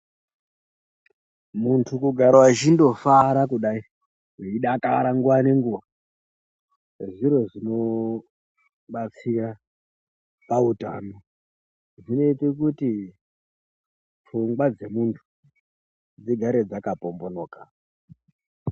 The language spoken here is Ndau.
Muntu kugara echindofara kudai, weidakara nguva nenguva zviro zvinobatsira pautano, zvinoite kuti pfungwa dzemuntu dzigare dzakapombonoka.